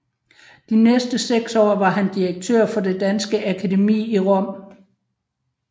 De næste 6 år var han direktør for Det danske Akademi i Rom